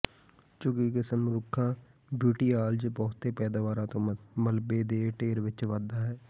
ਝੁਕੀ ਕਿਸਮ ਰੁੱਖਾ ਬੂਟੀਆਲਾਜ਼ ਬਹੁਤੇ ਪੈਦਾਵਾਰਾਂ ਤੋਂ ਮਲਬੇ ਦੇ ਢੇਰ ਵਿੱਚ ਵਧਦਾ ਹੈ